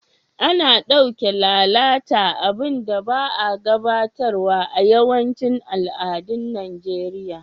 Ana dauke lalata abun da ba'a gafartawa a'yawancin al'adun Nijeriya.